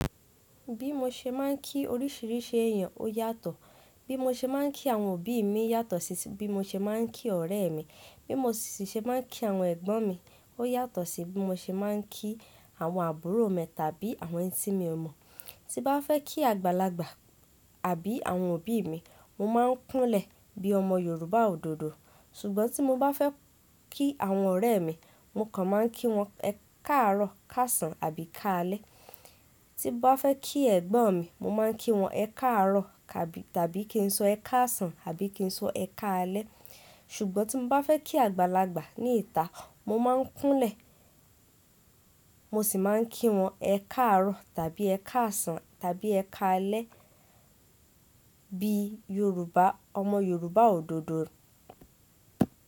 Bí mo ṣe máa ń kí oríṣìíríṣìí èèyàn ó yàtọ̀. Bí mo ṣe máa ń kí àwọn òbí mi yàtọ̀ sí bí mo ṣe máa ń kí ọ̀rẹ́ mi. Bí mo sì ṣe máa ń kí àwọn ẹ̀gbọ́n mi ó yàtọ̀ sí bí mo ṣe máa ń kí àwọn àbúrò mi tàbí àwọn ẹ́ní tí mi ò mọ̀. Tí bá fẹ́ kí àgbàlagbà àbí àwọn òbí mi, mo máa ń kúnlẹ̀ bí ọmọ Yorùbá òdòdó. Ṣùgbọ́n tí mo bá fẹ́ kí àwọn ọ̀rẹ́ mi, mo kàn máa ń kí wọn káàárọ̀, káàsán àbí káalẹ́. Tí bá fẹ́ kí ẹ̀gbọ́n mi, mo máa ń kí wọn ẹ káàárọ̀ tàbí kí n sọ ẹ káàsán àbí kí n sọ ẹ káalẹ́. Ṣùgbọ́n tí mo bá fẹ́ kí àgbàlagbà ní ìta, mo máa ń kúnlẹ̀, mo sì máa ń kí wọn ẹ káàárọ̀ tàbí ẹ káàsán tàbí ẹ káalẹ́ bi Yorùbá, ọmọ Yorùbá òdòdó.